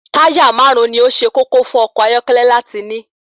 Táyà máàrún ni ó ṣe kókó fún ọkọ̀ ayọ́kẹ́lẹ́ láti ní.